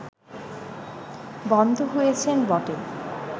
বন্ধ হয়েছে বটে